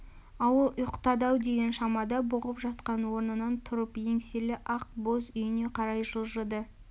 ауыл ұйықтады-ау деген шамада бұғып жатқан орнынан тұрып еңселі ақ боз үйіне қарай жылжыды